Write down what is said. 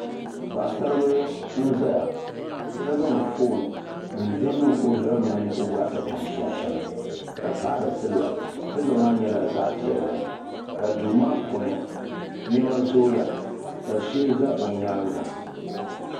Paɣasaribili n zaya. ka zaŋ fɔn n dihi niŋ ɔzuɣuni ɔbɔɣisapiŋ sunsuni. ka paɣiri siliba, siliba maa nyɛla zaɣi piɛli. duumaa puuni nema zooya.ka sheli za ɔ nyaaŋa